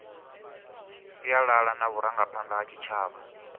sialala na vharangaphanda vha tshitshavha